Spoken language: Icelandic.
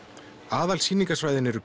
aðalsýningarsvæðin eru